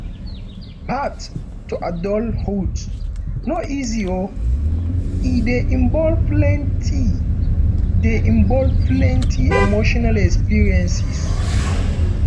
path to adulthood no easy o e dey involve plenty dey involve plenty emotional experiences